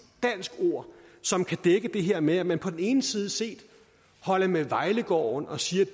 dansk ord som kan dække det her med at man på den ene side side holder med vejlegården og siger